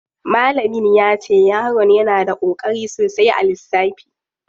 Malamin yace yaron yana da koƙari sosai a lissafi.